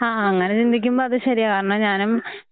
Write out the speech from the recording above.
ആഹ് അങ്ങനെ ചിന്തിക്കുമ്പം അത് ശരിയാ. കാരണം ഞാനും.